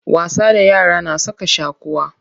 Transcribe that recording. Wasa da yara na saka shaquwa.